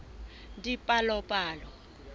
dipalopalo